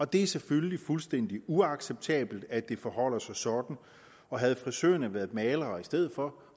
det er selvfølgelig fuldstændig uacceptabelt at det forholder sig sådan og havde frisørerne været malere i stedet for